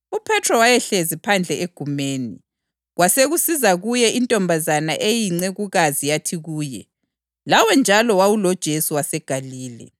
UPhethro wayehlezi phandle egumeni, kwasekusiza kuye intombazana eyincekukazi yathi kuye, “Lawe njalo wawuloJesu waseGalile.”